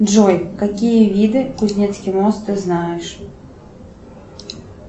джой какие виды кузнецкий мост ты знаешь